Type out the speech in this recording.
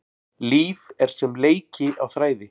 Líf er sem leiki á þræði.